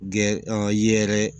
Gɛrɛ yeɛrɛ